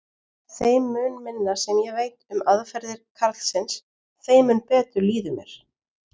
Þeim mun minna sem ég veit um aðferðir karlsins, þeim mun betur líður mér.